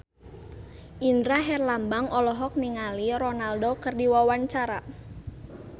Indra Herlambang olohok ningali Ronaldo keur diwawancara